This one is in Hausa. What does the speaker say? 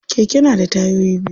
Keke na da tayoyi biyu.